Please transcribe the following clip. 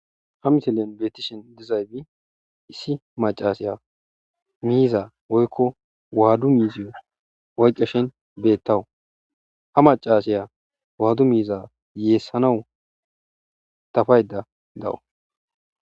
Ha misilen betishe dizayti isi macasiya miiza woyko wadu miziyo oyqashe beetawusu. Ha macasiya wadu miiza yeesanawu dafayda dawu.